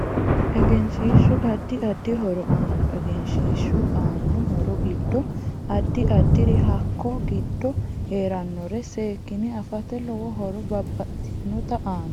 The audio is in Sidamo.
Egeshiishu addi addi horo aanno egeshiishu aanno horo giddo addi addiri hakko giddo heeranore seekine afata lowo horo babbxitinota aanno